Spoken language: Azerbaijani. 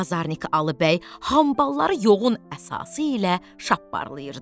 Bazarnik Alı bəy hambalları yoğun əsası ilə şapparlayırdı.